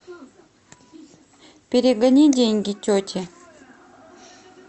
перегони деньги тете